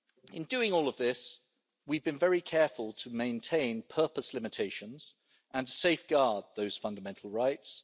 In doing all of this, we have been very careful to maintain purpose limitations and safeguard those fundamental rights.